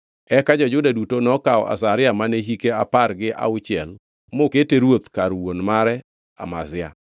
Eka jo-Juda duto nokawo Azaria mane hike apar gi auchiel mokete ruoth kar wuon mare Amazia.